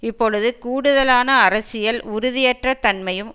இப்பொழுது கூடுதலான அரசியல் உறுதியற்ற தன்மையும்